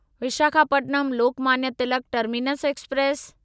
Visakhapatnam Lokmanya Tilak terminus express